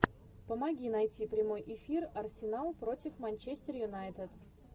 помоги найти прямой эфир арсенал против манчестер юнайтед